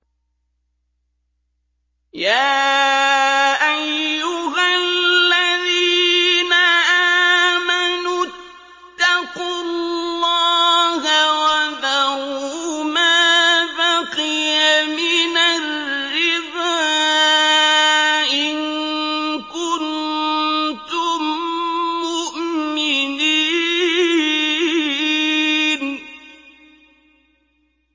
يَا أَيُّهَا الَّذِينَ آمَنُوا اتَّقُوا اللَّهَ وَذَرُوا مَا بَقِيَ مِنَ الرِّبَا إِن كُنتُم مُّؤْمِنِينَ